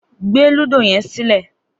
Gbé lúdò yé̩n sílè̩!